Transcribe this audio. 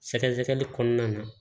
Sɛgɛsɛgɛli kɔnɔna na